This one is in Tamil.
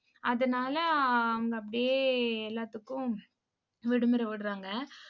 அதனால, அவங்க அப்படியே எல்லாத்துக்கும் விடுமுறை விடுறாங்க.